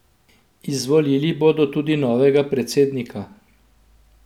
Izvolili bodo tudi novega predsednika.